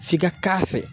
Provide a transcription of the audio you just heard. F'i ka k'a fɛ